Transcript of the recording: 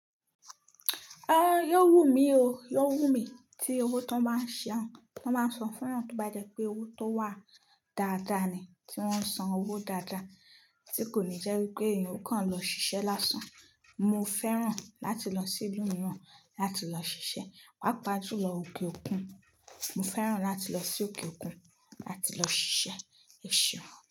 Ẹn, yó wù mí o, yó wù mí tí owó tó máa ṣe han. Wọ́n máa ń sọ fún yan tó bá jẹ́ pé owó tó wà dáadáa ni tí wọ́n ń san owó dáadáa, tí kò ní jẹ́ wípé èèyàn kàn lọ ṣiṣẹ́ lásán. Mo fẹ́ràn láti lọ sí ìlú mìíràn láti lọ ṣiṣẹ́. Pápá jùlọ òkè òkun. Mo fẹ́ràn láti lọ sí òkè òkun láti lọ ṣiṣẹ́, è ṣeun.